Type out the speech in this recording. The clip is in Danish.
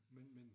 Men men